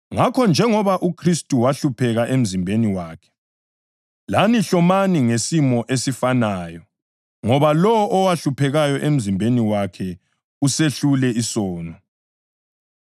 Ngakho, njengoba uKhristu wahlupheka emzimbeni wakhe, lani hlomani ngesimo esifanayo, ngoba lowo owahluphekayo emzimbeni wakhe usehlule isono.